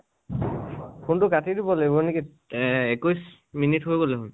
phone তু কাটি দিব লাগিব নেকি এ একৈছ minute হৈ গল